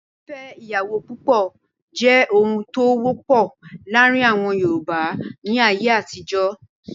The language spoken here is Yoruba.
Fífẹ́ ìyàwó púpọ̀ jẹ́ ohun tó wọ́pọ̀ láàrin àwọn Yorùbá ní ayé àtijọ́.